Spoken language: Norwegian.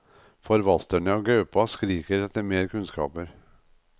Forvalterne av gaupa skriker etter mer kunnskaper.